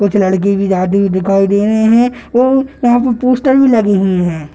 कुछ लड़के भी जाते हुए दिखाई दे रहे हैं और वहाँ पर पोस्टर भी लगे हुए हैं।